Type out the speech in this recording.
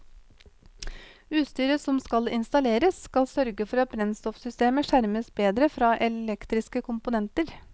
Utstyret som skal installeres skal sørge for at brennstoffsystemet skjermes bedre fra elektriske komponenter.